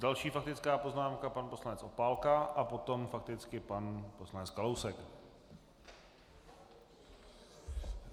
Další faktická poznámka, pan poslanec Opálka a potom fakticky pan poslanec Kalousek.